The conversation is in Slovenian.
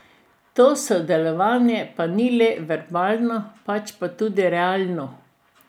To sodelovanje pa ni le verbalno, pač pa tudi realno.